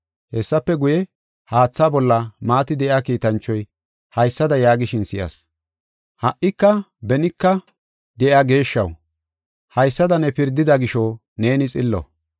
Hessafe guye, haatha bolla maati de7iya kiitanchoy haysada yaagishin si7as. “Ha77ika benika de7iya geeshshaw, haysada ne pirdida gisho neeni xillo.